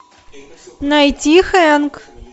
найти хэнк